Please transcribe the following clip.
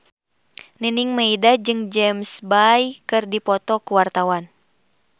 Nining Meida jeung James Bay keur dipoto ku wartawan